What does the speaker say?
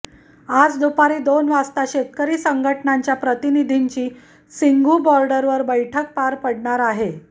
आज दुपारी दोन वाजता शेतकरी संघटनांच्या प्रतिनिधींची सिंघू बॉर्डरवर बैठक पार पडणार आहे